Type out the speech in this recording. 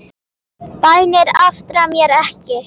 Bænir aftra mér ekki.